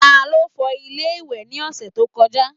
Ta ló fọ ilé ìwẹ̀ ní ọ̀sẹ̀ tó kọjá?